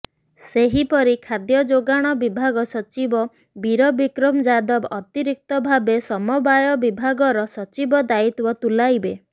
ସେହିପରି ଖାଦ୍ୟଯୋଗାଣ ବିଭାଗ ସଚିବ ବୀରବିକ୍ରମ ଯାଦବ ଅତିରିକ୍ତ ଭାବେ ସମବାୟ ବିଭାଗର ସଚିବ ଦାୟିତ୍ୱ ତୁଲାଇବେ